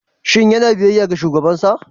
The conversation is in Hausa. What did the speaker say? Shin yana biyayya ga shugabansa?